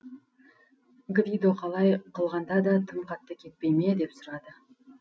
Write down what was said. гвидо қалай қылғанда да тым қатты кетпей ме деп сұрады